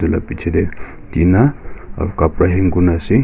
etu la biji dae tina kabra hang kurna ase.